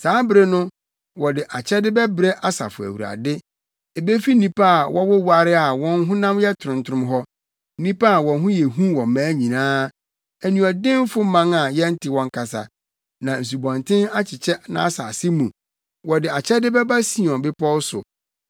Saa bere no, wɔde akyɛde bɛbrɛ Asafo Awurade ebefi nnipa a wɔwoware na wɔn honam yɛ trontrom hɔ, nnipa a wɔn ho yɛ hu wɔ mmaa nyinaa, aniɔdenfo man a yɛnte wɔn kasa, na nsubɔnten akyekyɛ nʼasase mu, wɔde akyɛde bɛba Sion Bepɔw so,